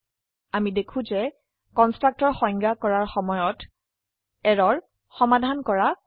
আমি দেখো যে কন্সট্ৰকটৰ সংজ্ঞা কৰাৰ সময়ত এৰৰ সমাধান কৰা হয়